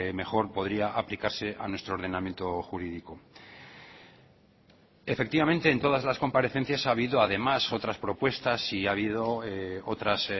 mejor podría aplicarse a nuestro ordenamiento jurídico efectivamente en todas las comparecencias ha habido además otras propuestas y ha habido otras